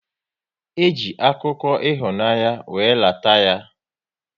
E ji akụkọ ịhụnanya wéré lata ya